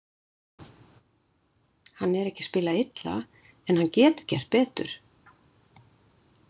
Hann er ekki að spila illa, en getur gert betur.